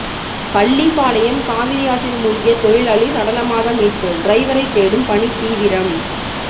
பள்ளிபாளையம் காவிரியாற்றில் மூழ்கிய தொழிலாளி சடலமாக மீட்பு டிரைவரை தேடும் பணி தீவிரம்